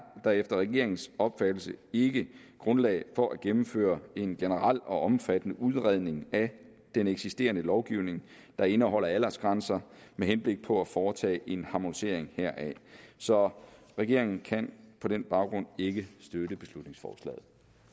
der efter regeringens opfattelse ikke grundlag for at gennemføre en generel og omfattende udredning af den eksisterende lovgivning der indeholder aldersgrænser med henblik på at foretage en harmonisering heraf så regeringen kan på den baggrund ikke støtte beslutningsforslaget